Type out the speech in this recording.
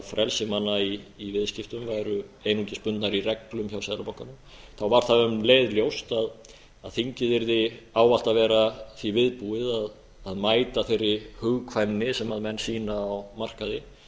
frelsi manna í viðskiptum væru einungis bundnar í reglum hjá seðlabankanum var það um leið ljóst að þingið yrði ávallt að vera því viðbúið að mæta þeirri hugkvæmni sem menn sýna á markaði